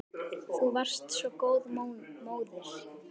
Þú varst svo góð móðir.